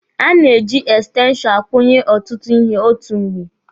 A na-eji ekstenshọnụ akwụnye ọtụtụ ihe otu mgbe.